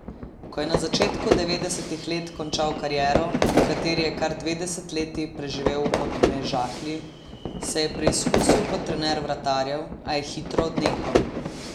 Ko je na začetku devetdesetih let končal kariero, v kateri je kar dve desetletji preživel v Podmežakli, se je preizkusil kot trener vratarjev, a je hitro odnehal.